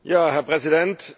Herr Präsident!